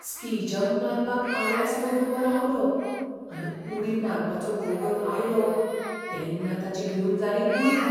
Ski jump मारपाक Alex वयर उबो रावलो, आनी उडी मारपाचो वगत आयलो तेन्ना ताची भिवन जाली गुळी.